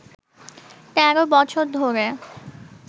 তেরো বছর ধরে